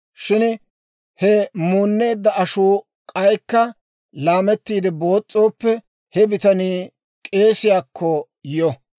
Shin he muunneedda ashuu k'aykka laamettiide boos's'ooppe, he bitanii k'eesiyaakko yo.